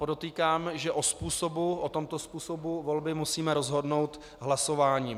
Podotýkám, že o tomto způsobu volby musíme rozhodnout hlasováním.